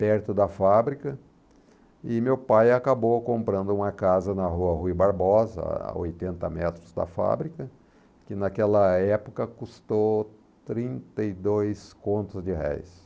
perto da fábrica e meu pai acabou comprando uma casa na rua Rui Barbosa, a oitenta metros da fábrica, que naquela época custou trinta e dois contos de réis.